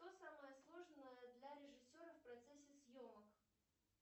что самое сложное для режиссера в процессе съемок